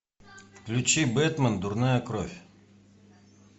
включи бетмен дурная кровь